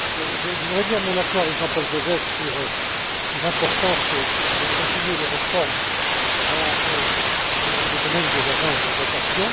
Je voudrais dire mon accord avec Jean Paul Gauzès sur l'importance de continuer les réformes dans le domaine des agences de notation.